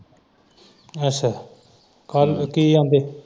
ਅੱਛਾ ਕੀ ਕਹਿੰਦੇ?